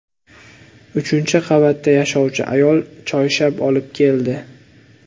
Uchinchi qavatda yashovchi ayol choyshab olib keldi.